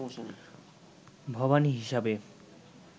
ভবানী হিসেবে